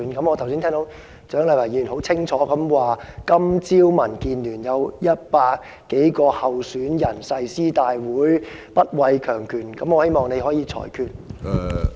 我剛才聽到蔣麗芸議員很清楚地指出，今早民建聯有100多名候選人進行誓師大會，說會不畏強權，我希望你可以裁決。